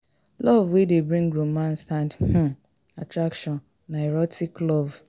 Love wey de bring romance and um attraction na erotic love